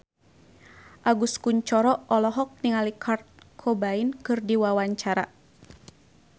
Agus Kuncoro olohok ningali Kurt Cobain keur diwawancara